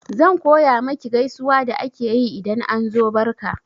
Zan koya maki gaisuwa da ake yi idan an zo barka